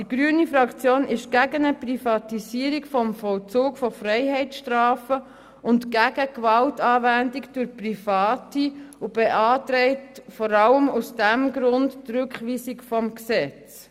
Die grüne Fraktion ist gegen eine Privatisierung des Vollzugs von Freiheitsstrafen und gegen Gewaltanwendung durch Private und beantragt, vor allem aus diesem Grund, die Rückweisung des Gesetzes.